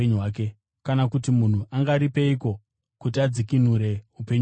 Kana kuti munhu angaripeiko kuti adzikinure upenyu hwake?